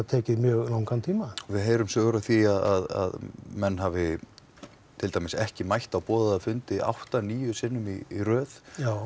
tekið mjög langan tíma við heyrum sögur af því að menn hafi ekki mætt á boðaða fundi átta til níu sinnum í röð